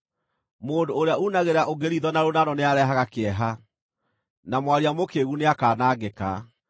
Mũndũ ũrĩa uunagĩra ũngĩ riitho na rũnano nĩarehage kĩeha, na mwaria mũkĩĩgu nĩakanangĩka.